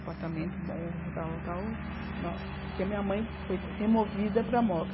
apartamento bom, tal, tal, porque a minha mãe foi removida para a moca.